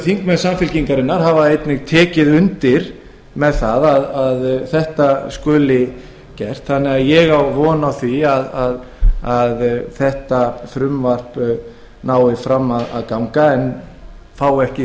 þingmenn samfylkingarinnar hafa einnig tekið undir þetta svo ég á von á að þetta frumvarp nái fram að ganga en hljóti ekki